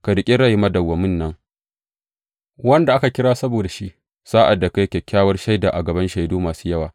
Ka riƙi rai madawwamin nan, wanda aka kira saboda shi, sa’ad da ka yi kyakkyawar shaida a gaban shaidu masu yawa.